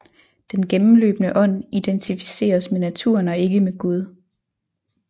Den gennemløbende ånd identificeres med naturen og ikke med Gud